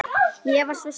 Ég var svo stolt.